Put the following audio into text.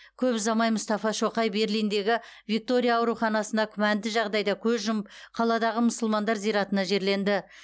көп ұзамай мұстафа шоқай берлиндегі виктория ауруханасында күмәнді жағдайда көз жұмып қаладағы мұсылмандар зиратына жерленді